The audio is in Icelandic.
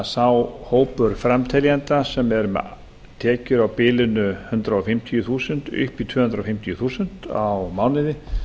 sá hópur framteljenda sem er með tekjur á bilinu hundrað fimmtíu þúsund upp í tvö hundruð fimmtíu þúsund á mánuði